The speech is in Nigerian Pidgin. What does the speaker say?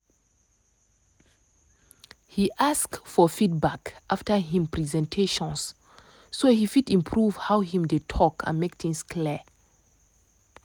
he ask for feedback after him presentations so he fit improve how him dey talk and make things clear.